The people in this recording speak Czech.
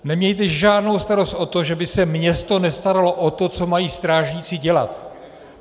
Nemějte žádnou starost o to, že by se město nestaralo o to, co mají strážníci dělat.